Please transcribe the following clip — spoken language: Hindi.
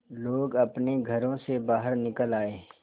लोग अपने घरों से बाहर निकल आए